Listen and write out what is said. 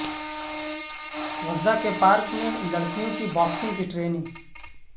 غزہ کے پارک میں لڑکیوں کی باکسنگ کی ٹریننگ